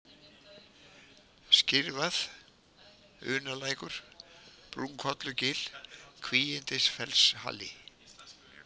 Skyrvað, Unalækur, Brúnkollugil, Kvígindisfellshali